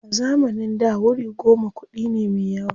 A zamanin da wuri goma kuɗi ne me yawa.